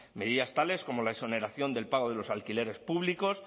medidas tales como la exoneración del pago de los alquileres públicos